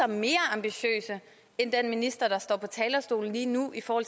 mere ambitiøse end den minister der står på talerstolen lige nu i forhold